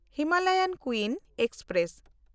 Himalayan Queen express